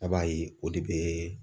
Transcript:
A b'a ye o de bɛ